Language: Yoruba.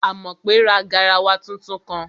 Àmọ̀pé ra garawa tuntun kan